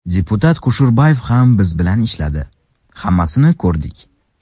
Deputat Kusherbayev ham biz bilan ishladi, hammasini ko‘rdik.